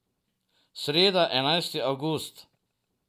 Sreda, enajsti avgust.